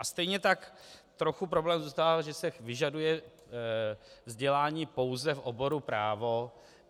A stejně tak trochu problém zůstává, že se vyžaduje vzdělání pouze v oboru právo.